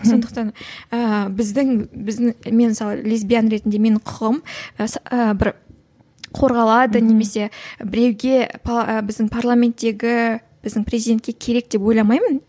сондықтан ііі біздің біздің мен мысалы лесбиян ретінде менің құқығым і і бір қорғалады немесе біреуге і біздің парламенттегі біздің президентке керек деп ойламаймын